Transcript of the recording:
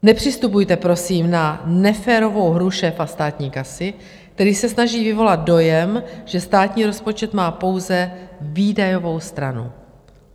Nepřistupujte, prosím, na neférovou hru šéfa státní kasy, který se snaží vyvolat dojem, že státní rozpočet má pouze výdajovou stranu.